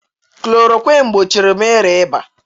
klorokwinu gbochiri m ịrịa ịba.